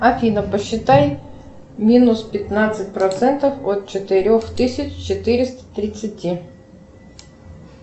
афина посчитай минус пятнадцать процентов от четырех тысяч четыреста тридцати